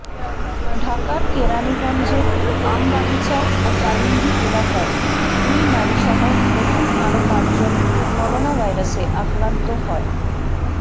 ঢাকার কেরানীগঞ্জের আমবাগিচা ও কালিন্দী এলাকায় দুই নারীসহ নতুন আরও পাঁচজন করোনাভাইরাসে আক্রান্ত হয়